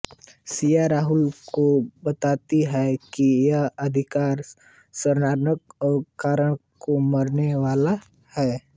सिया राहुल को बताती है कि वह अधिकारी सरनायक और करण को मारने वाला है